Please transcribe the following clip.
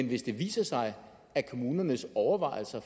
hvis det viser sig at kommunernes overvejelser